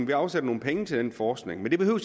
vi afsætter nogle penge til den forskning men det behøver